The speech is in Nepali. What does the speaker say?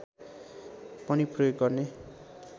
पनि प्रयोग गर्ने